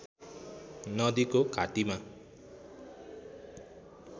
नदीको घाटीमा